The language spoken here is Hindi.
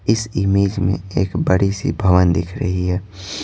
इस इमेज में एक बड़ी सी भवन दिख रही है।